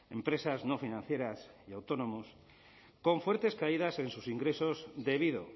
empresas no financieras y autónomos con fuertes caídas en sus ingresos debido